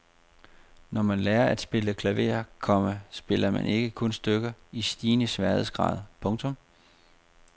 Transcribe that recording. Når man lærer at spille klaver, komma spiller man ikke kun stykker i stigende sværhedsgrad. punktum